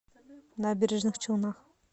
набережных челнах